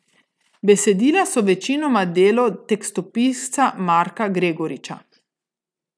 Besedila so večinoma delo tekstopisca Marka Gregoriča.